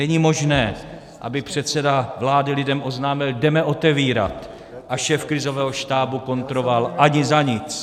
Není možné, aby předseda vlády lidem oznámil "jdeme otevírat", a šéf krizového štábu kontroval - "ani za nic".